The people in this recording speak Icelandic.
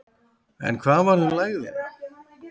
En hvað varð um lægðina?